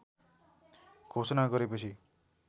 घोषणा गरेपछि